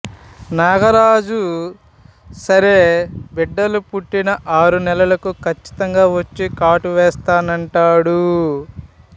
నాగరాజు సరే బిడ్డలు పుట్టిన ఆరు నెలలకు ఖచ్చితంగా వచ్చి కాటు వేస్తానంటాడు